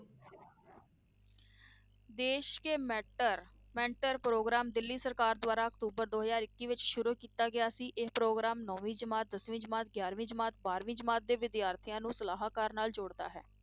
ਦੇਸ ਕੇ mentor mentor programme Delhi ਸਰਕਾਰ ਦੁਆਰਾ ਅਕਤੂਬਰ ਦੋ ਹਜ਼ਾਰ ਇੱਕੀ ਵਿੱਚ ਸ਼ੁਰੂ ਕੀਤਾ ਗਿਆ ਸੀ, ਇਹ ਪ੍ਰੋਗਰਾਮ ਨੋਵੀਂ ਜਮਾਤ, ਦਸਵੀ ਜਮਾਤ, ਗਿਆਰਵੀਂ ਜਮਾਤ, ਬਾਰਵੀਂ ਜਮਾਤ ਦੇ ਵਿਦਿਆਰਥੀਆਂ ਨੂੰ ਸਲਾਹਕਾਰਾਂ ਨਾਲ ਜੋੜਦਾ ਹੈ।